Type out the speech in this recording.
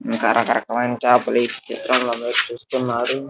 ఇంకా రకరకమైన చేపలు ఈ చిత్రం లో మీరు చూస్తున్నారు.